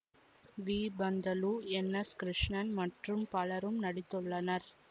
we Panthulu N S Krishnan மற்றும் பலரும் நடித்துள்ளனர்